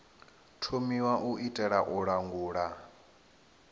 thomiwa u itela u langula